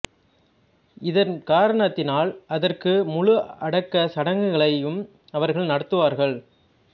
இதன் காரணத்தினால் அதற்கு முழு அடக்க சடங்குகளையும் அவர்கள் நடத்துவார்கள்